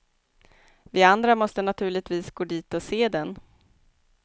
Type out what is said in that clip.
Vi andra måste naturligtvis gå dit och se den.